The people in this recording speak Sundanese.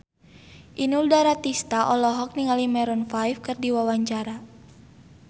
Inul Daratista olohok ningali Maroon 5 keur diwawancara